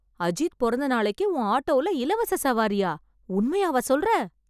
அஜித் பொறந்த நாளைக்கு உன் ஆட்டோல இலவச சவாரியா? உண்மையாவா சொல்ற?